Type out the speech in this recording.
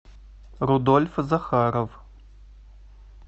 рудольф захаров